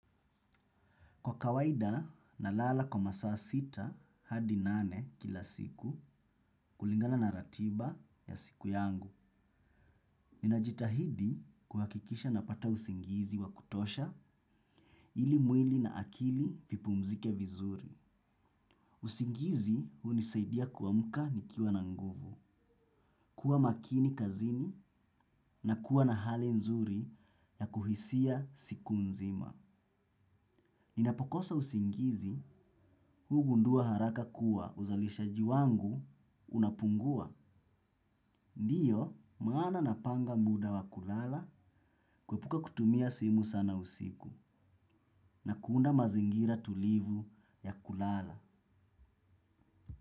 Kwa kawaida nalala kwa masaa sita hadi nane kila siku kulingana na ratiba ya siku yangu. Ninajitahidi kuhakikisha napata usingizi wa kutosha ili mwili na akili vipumzike vizuri. Usingizi hunisaidia kuamka nikiwa na nguvu. Kuwa makini kazini na kuwa na hali nzuri ya kuhisia siku mzima. Ninapokosa usingizi, hugundua haraka kuwa uzalishaji wangu unapungua. Ndiyo, maana napanga muda wa kulala, kuepuka kutumia simu sana usiku, na kuunda mazingira tulivu ya kulala.